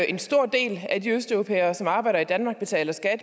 en stor del af de østeuropæere som arbejder i danmark betaler skat og